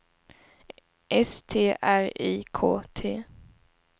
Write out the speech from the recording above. S T R I K T